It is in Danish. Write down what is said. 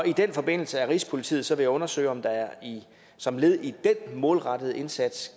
i den forbindelse er rigspolitiet så ved at undersøge om der som led i den målrettede indsats